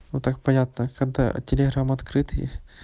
ну так понятно когда телеграм открытый